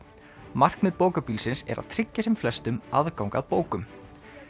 markmið er að tryggja sem flestum aðgang að bókum